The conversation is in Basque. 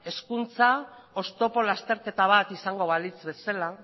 hezkuntza oztopo lasterketa bat izango balitz bezala